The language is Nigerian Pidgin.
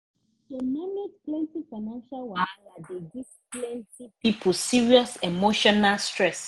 to manage plenty financial wahala dey give plenty people serious emotional stress